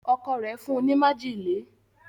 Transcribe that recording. Ọkọ rẹ fún ní májèlé.